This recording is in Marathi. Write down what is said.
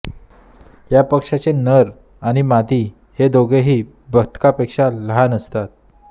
या पक्ष्याचे नर आणि मादी हे दोघेही बदकापेक्षा लहान असतात